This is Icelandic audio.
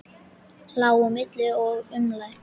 Lá á milli og umlaði.